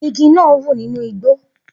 Igi náà ń wù nínú igbó